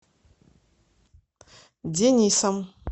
денисом